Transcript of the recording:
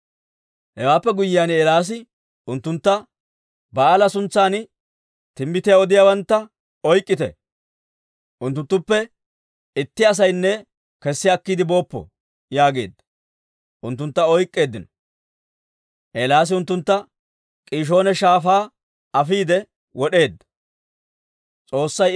Hewaappe guyyiyaan Eelaasi unttuntta, «Ba'aala suntsan timbbitiyaa odiyaawantta oyk'k'ite. Unttunttuppe itti asaynne kessi akkiide booppo» yaageedda. Unttuntta oyk'k'eeddino; Eelaasi unttuntta K'iishoona Shaafaa afiide wod'eedda.